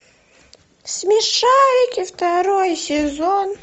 смешарики второй сезон